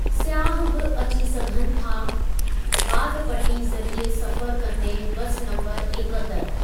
स्याहु बि अची सघनि था वादपटी ज़रिए सफ़रु कन्दे बसि नम्बरु एकहतरि।